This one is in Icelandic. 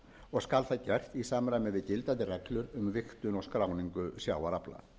og skal það gert í samræmi við gildandi reglur um vigtun og skráningu sjávarafla